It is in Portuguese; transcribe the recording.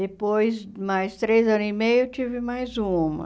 Depois, mais três anos e meio, eu tive mais uma.